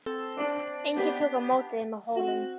Enginn tók á móti þeim á Hólum.